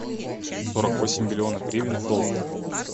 сорок восемь миллионов гривен в долларах